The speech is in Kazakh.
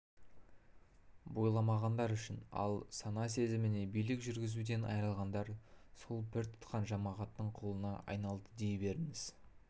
бойламағандар үшін ал сана-сезіміне билік жүргізуден айырылғандар сол пір тұтқан жамағаттың құлына айналды дей беріңіз